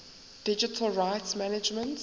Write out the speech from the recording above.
digital rights management